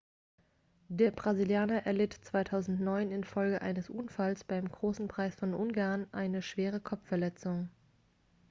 der brasilianer erlitt 2009 infolge eines unfalls beim großen preis von ungarn eine schwere kopfverletzung